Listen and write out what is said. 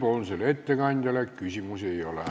Komisjoni ettekandjale küsimusi ei ole.